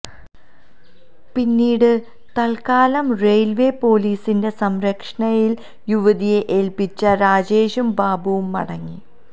പിന്നീട് തൽക്കാലം റെയിൽവേ പൊലീസിന്റെ സംരക്ഷയണിയിൽ യുവതിയെ ഏൽപ്പിച്ച് രാജേഷും ബാബുവും മടങ്ങി